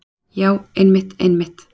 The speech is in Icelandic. Já einmitt, einmitt.